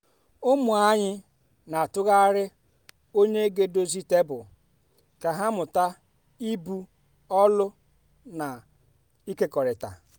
ụmụ anyị n'atụgharị onye ga edozie tebụl ka ha mụta ibu ọlụ na ịkekọrịta.